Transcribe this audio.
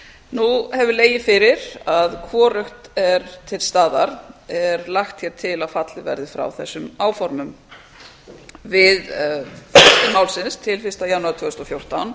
nú hefur legið fyrir að hvorugt er til staðar er lagt hér til að fallið verði frá þessum áformum við málsins til tvö þúsund og fjórtán